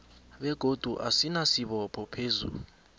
begodu asinasibopho phezu